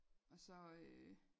Og så øh